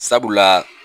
Sabula